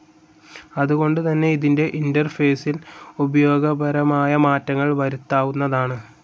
അതുകൊണ്ട് തന്നെ ഇതിന്റെ ഇന്റർഫേസിൽ ഉപയോഗപരമായ മാറ്റങ്ങൾ വരുത്താവുന്നതാണ്.